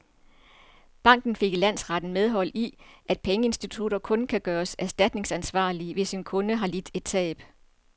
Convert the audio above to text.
Banken fik i landsretten medhold i, at pengeinstitutter kun kan gøres erstatningsansvarlige, hvis en kunde har lidt et tab.